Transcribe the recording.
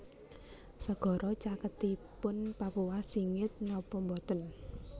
Segara caketipun Papua singit nopo mboten